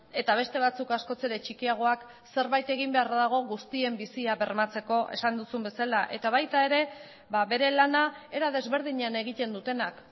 eta beste batzuk askoz ere txikiagoak zerbait egin beharra dago guztien bizia bermatzeko esan duzun bezala eta baita ere bere lana era desberdinean egiten dutenak